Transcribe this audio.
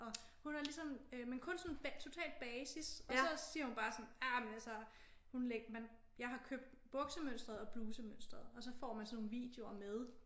Og hun er ligesom øh men kun sådan totalt basis og så siger hun bare sådan ah men altså hun jeg har købt buksemønstret og blusemønstret og så får man sådan nogle videoer med